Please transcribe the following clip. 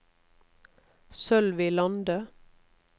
Sølvi Lande